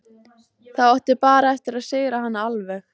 Þá áttu bara eftir að sigra hana alveg.